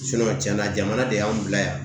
cɛn na jamana de y'an bila yan